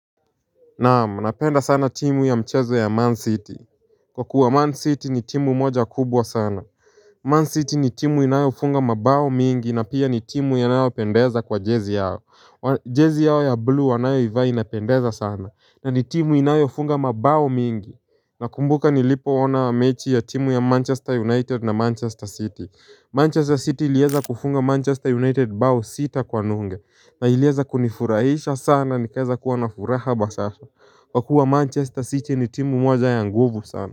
Naam napenda sana timu ya mchezo ya Man City Kwa kuwa Man City ni timu moja kubwa sana Man City ni timu inayofunga mabao mingi na pia ni timu inayopendeza kwa jezi yao Jezi yao ya blue wanayoivaa inapendeza sana na ni timu inayofunga mabao mingi na kumbuka nilipoona wa mechi ya timu ya Manchester United na Manchester City Manchester City ilieza kufunga Manchester United bao sita kwa nunge na ilieza kunifurahisha sana nikaeza kuwa nafuraha bashasha Kwa kuwa Manchester City ni timu mwanzo ya nguvu sana.